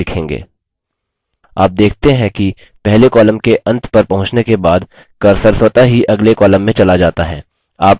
आप देखते हैं कि पहले column के अंत पर पहुँचने के बाद cursor स्वतः ही अगले column में चला जाता है